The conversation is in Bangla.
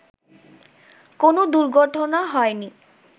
কোন দুর্ঘটনা হয়নি